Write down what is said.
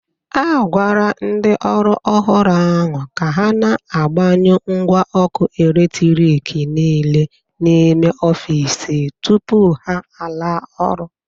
A gwara ndị ọrụ ọhụrụ ahụ ka ha na-,agbanyụ ngwa ọkụ eletriki niile n'ime ọfịs tụpụ ha ala ọrụ.